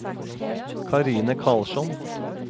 Karine Karlsson